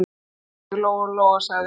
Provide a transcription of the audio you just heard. Beygðu þig, Lóa-Lóa, sagði hún.